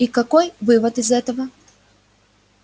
и какой вывод из этого